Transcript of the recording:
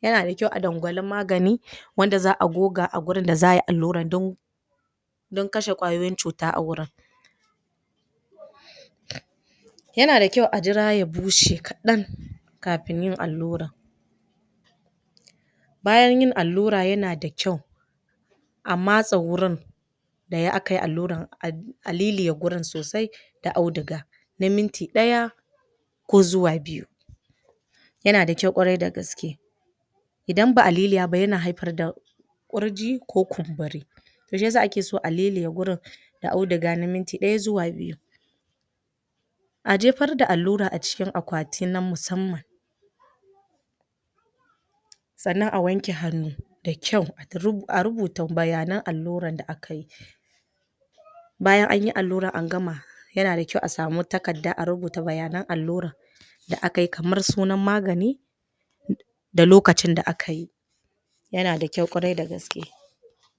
yana da kyau a dangwali magani wanda za a goga a wurin da za a yi alluran dan don kashe ƙwayoyin cuta a wurin yana da kyau a jira ya bushe kaɗan kafin in alluran bayan yin allura yana da kyau ma matsa wurin da ya akayi alluran a liliya wurin sosai da auduga na minti ɗaya ko zuwa biyu yana da kyau ƙwarai da gaske idan ba a liliya ba yana haifar da ƙurji ko kumburi to shiyasa ake so a liliya wurin da auduga na minti ɗaya zuwa biyu a jefar da allura a cikin akwati na musamman sannan a wanke hannu da kyau? a rubuta bayanan alluran da akayi bayan anyi alluran an agama yana da kyau a samu takadda a rubuta bayanan alluran da akayi kamar sunana magani da lokacin da akayi yana da kyau ƙwarai da gaske